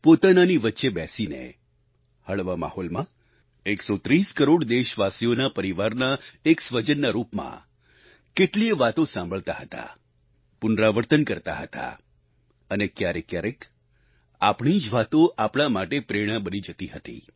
પોતાનાની વચ્ચે બેસીને હળવા માહોલમાં 130 કરોડ દેશવાસીઓના પરિવારના એક સ્વજનના રૂપમાં કેટલીયે વાતો સાંભળતા હતા પુનરાવર્તન કરતા હતા અને ક્યારેકક્યારેક આપણી જ વાતો આપણા માટે પ્રેરણા બની જતી હતી